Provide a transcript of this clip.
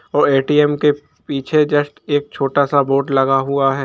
और ए.टी.एम के पीछे जस्ट एक छोटा सा बोर्ड लगा हुआ है।